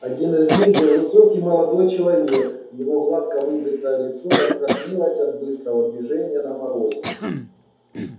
один из них был высокий молодой человек его гладко выбритое лицо раскраснелось от быстрого движения на морозе